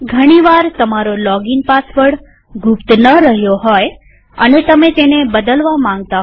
ઘણી વાર તમારો લોગીન પાસવર્ડ ગુપ્ત ન રહ્યો હોય અને તમે તેને બદલવા માંગતા હોવ